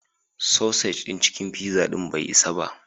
Sausage ɗin cikin pizzan bai isa ba.